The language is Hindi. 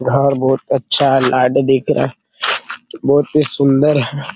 घर बहुत अच्छा है लाइट दिख रहा है | बहुत ही सुन्दर है |